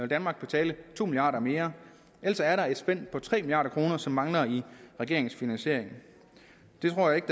danmark betale to milliarder mere altså er der et spænd på tre milliard kr som mangler i regeringens finansiering jeg tror ikke